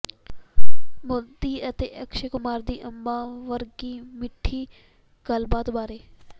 ਮੋਦੀ ਅਤੇ ਅਕਸ਼ੈ ਕੁਮਾਰ ਦੀ ਅੰਬਾਂ ਵਰਗੀ ਮਿਠੀ ਗੱਲਬਾਤ ਬਾਰੇ